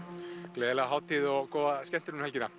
gleðileg hátíð og góða skemmtun um helgina